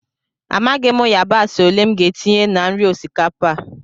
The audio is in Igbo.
Amaghị m yabasị ole m ga-etinye na nri osikapa a